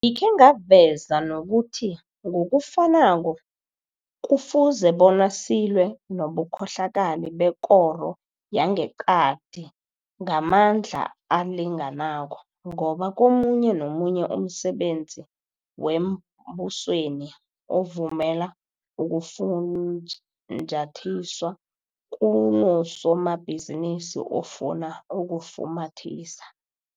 Ngikhe ngaveza nokuthi ngokufanako, kufuze bona silwe nobukhohlakali bekoro yangeqadi ngamandla alinganako, ngoba komunye nomunye umsebenzi wembusweni ovumela ukufunjathiswa, kunosomabhizinisi ofuna ukufumathisa.